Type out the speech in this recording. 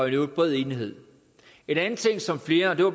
i øvrigt bred enighed en anden ting som flere